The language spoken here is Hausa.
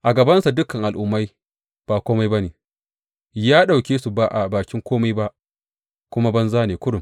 A gabansa dukan al’ummai ba kome ba ne; ya ɗauke su ba a bakin kome ba kuma banza ne kurum.